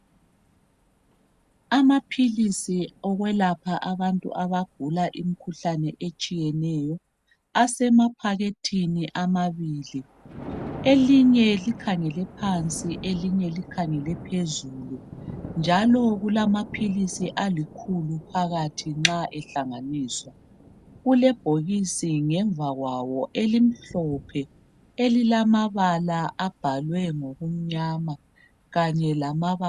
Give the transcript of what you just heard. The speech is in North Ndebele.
amaphilizi okwelapha abantu abagula imikhuhlane etshiyeneyo, asemaphakethini amabili elinye likhangele phansi elinye likhangele phezulu njalo kulam philizi alikhulu phakathinxa ehlanganiswa kulebhokisi ngemva kwawo elimhlophe elibhalwe ngamabala amnyama